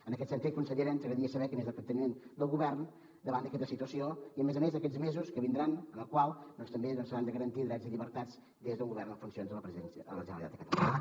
en aquest sentit consellera ens agradaria saber quin és el capteniment del govern davant d’aquesta situació i a més a més d’aquests mesos que vindran en els quals doncs també s’hauran de garantir drets i llibertats des d’un govern en funcions a la generalitat de catalunya